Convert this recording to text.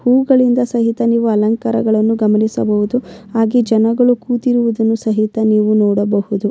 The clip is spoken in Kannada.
ಹೂವುಗಳಿಂದ ಸಹಿತ ನೀವು ಅಲಂಕಾರವನ್ನು ಗಮನಿಸಬಹುದು ಹಾಗೆ ಜನಗಳು ಕೂತಿರುವುದನ್ನು ಸಹಿತ ನೀವು ನೋಡಬಹುದು.